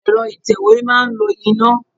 Ẹ̀rọ ìtẹ̀wé máa ń lo iná.